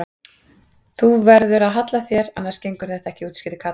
Þú verður að halla þér annars gengur þetta ekki útskýrði Kata.